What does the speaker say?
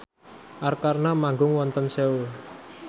Arkarna manggung wonten Seoul